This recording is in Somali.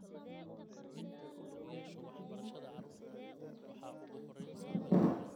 Saamaynta wax-soo-saarka dalagga sababtoo ah biyo nadiif ah la'aanta.